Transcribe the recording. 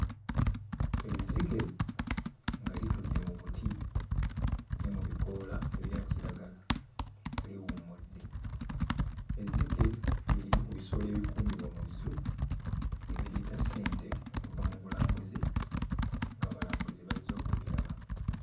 Ezzike nga litudde mu buti ne mu bikoola ebya kiragala liwummudde. Ezzike lye limu ku bisolo ebikuumibwa mu zoo ebireeta ssente okuva mu bulambuzi ng'abalambuzi bazze okubiraba.